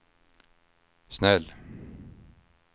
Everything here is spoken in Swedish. snäll